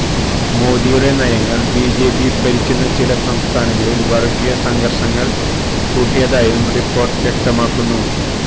മോദിയുടെ നയങ്ങള് ബിജെപി ഭരിക്കുന്ന ചില സംസ്ഥാനങ്ങളില് വര്ഗീയ സംഘര്ഷങ്ങള് കൂട്ടിയതായും റിപ്പോര്ട്ട് വ്യക്തമാക്കുന്നു